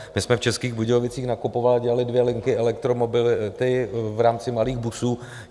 My jsme v Českých Budějovicích nakupovali a udělali dvě linky elektromobility v rámci malých busů.